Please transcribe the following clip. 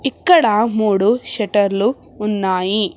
ఇక్కడ మూడు షెటర్లు ఉన్నాయి.